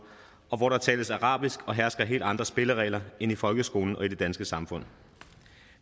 og hvor der tales arabisk og hersker helt andre spilleregler end i folkeskolen og i det danske samfund